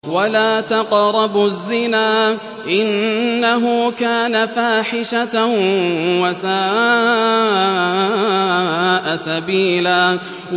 وَلَا تَقْرَبُوا الزِّنَا ۖ إِنَّهُ كَانَ فَاحِشَةً وَسَاءَ سَبِيلًا